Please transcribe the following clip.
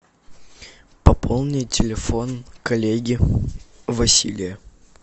пополнить телефон коллеги василия